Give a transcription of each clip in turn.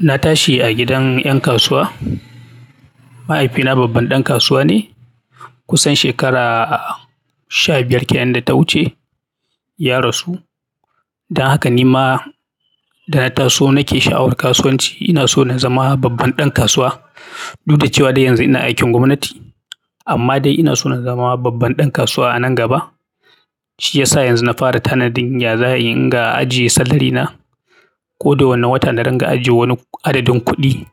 Na tashi a gidan ƴan kasuwa. Mahaifina babban ɗan kasuwa ne kusan shekara sha biyar kenan da ta wuce ya rasu. Dan haka ni ma da na taso nake sha'awar kasuwanci. Ina so na zama babban ɗan kasuwa. Du da cewa dai yanzu ina aikin gwamnati amma dai ina so na zama babban ɗan kasuwa a nan gaba. Shi yasa yanzu na fara tanadin yaza ayi in ga ajiye salarina. Ko da wane wata na ringa ajiye wani adadin kuɗi.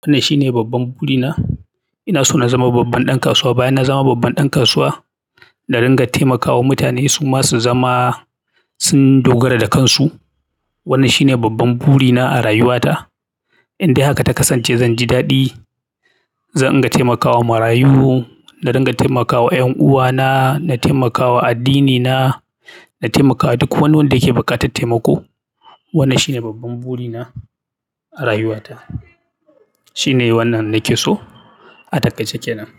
Wannan shine babban burina. Ina so na zama babban ɗan kasuwa. Bayan na zama babban ɗan kasuwa, na ringa taimakawa mutane su ma su zama sun dogara da kansu. Wannan shine babban burina a rayuwata. In dai harka ta kasance zan ji daɗi. Zanga taimakawa marayu na ringa taimakawa ƴan uwana, na taimakawa addini na taimakawa duk wani wanda yake buƙatan taimako. Wannan shine babban burina a rayuwata. Tine wannan nake so, ataiƙaice kenan.